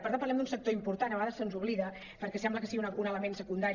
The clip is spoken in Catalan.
per tant parlem d’un sector important i a vegades ens n’oblidem perquè sembla que sigui un element secundari